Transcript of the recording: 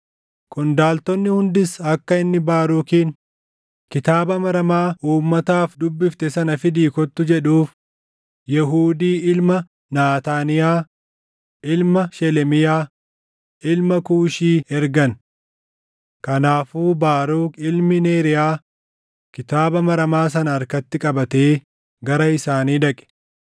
Qondaaltonni hundis akka inni Baarukiin, “Kitaaba maramaa uummataaf dubbifte sana fidii kottu” jedhuuf Yehuudii ilma Naataaniyaa, ilma Shelemiyaa, ilma Kuushii ergan. Kanaafuu Baaruk ilmi Neeriyaa kitaaba maramaa sana harkatti qabatee gara isaanii dhaqe.